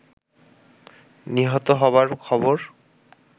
নিহত হবার খবর